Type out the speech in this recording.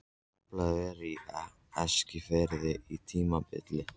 Taflfélag var á Eskifirði á tímabili.